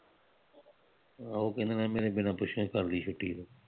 ਉਹ ਕਹਿੰਦੇ ਨੇ ਮੇਰੇ ਬਿਨਾ ਪੁੱਛਿਉ ਹੀ ਕਰਦੀ ਛੁੱਟੀ